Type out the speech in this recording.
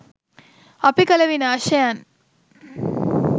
අපි කළ විනාශයන්